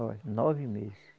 Olha, nove mês.